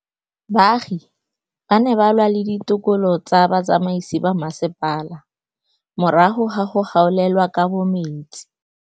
Baagi ba ne ba lwa le ditokolo tsa botsamaisi ba mmasepala morago ga go gaolelwa kabo metsi.